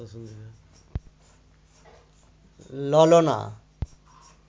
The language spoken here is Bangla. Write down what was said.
ললনা